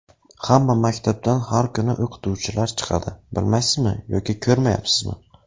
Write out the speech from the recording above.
Hamma maktabdan har kuni o‘qituvchilar chiqadi, bilmaysizmi yo ko‘rmayapsizmi?